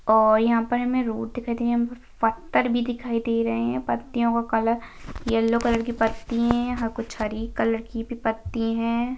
और यहाँ पर हमें रोड दिखाई दे रही है यहाँ पर फत्तर भी दिखाई दे रहे हैं पत्तियों का कलर येल्लो कलर की पत्ती है यहाँ कुछ हरी कलर की भी पत्ती है।